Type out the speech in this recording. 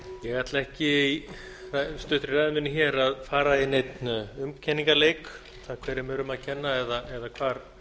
ég ætla ekki í stuttri ræðu minni hér að fara í neinn umkenningarleik um það hverjum er um að kenna eða hvar